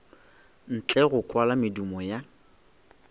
ntle go kwala medumo ya